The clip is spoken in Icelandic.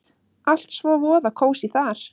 Allt svo voða kósí þar!